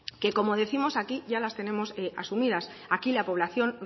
que como décimos aquí ya les tenemos asumidas aquí la población